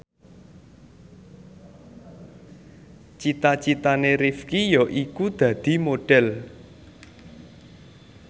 cita citane Rifqi yaiku dadi Modhel